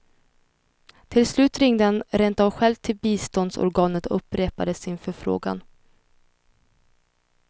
Till slut ringde han rentav själv till biståndsorganet och upprepade sin förfrågan.